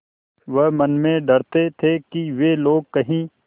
वह मन में डरते थे कि वे लोग कहीं